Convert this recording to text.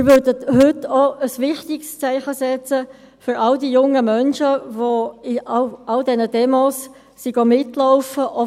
Wir würden heute auch ein wichtiges Zeichen setzen für all die jungen Menschen, die an all den Demos mitgelaufen sind.